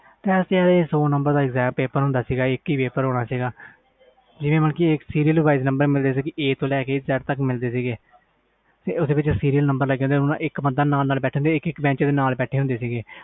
ਸੌ ਨੰਬਰ ਦਾ ਪੇਪਰ ਹੁੰਦਾ ਸੀ ਇਕ ਹੀ ਪੇਪਰ ਹੋਣਾ ਸੀ ਇਕ serail wasie ਤੇ ਓਥੇ ਵਿਚ a to z ਤਕ ਮਿਲਦੇ ਸੀ ਓਹਦੇ ਵਿਚ ਇਕ ਬੰਚ ਦੇ ਨਾਲ ਨਾਲ ਬੈਠੇ ਹੁੰਦੇ ਸੀ